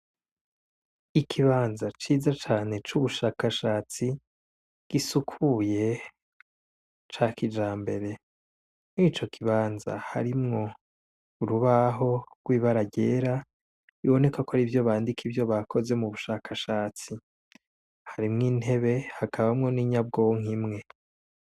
ikibanza ciza cane cu bushakashatsi gisukuye ca kijambere murico kibanza harimwo urubaho rw'ibara ryera biboneka ko ariho bandika ivyo bakoze mu bushakashatsi harimwo intebe hakabamwo n'inyabwonko imwe.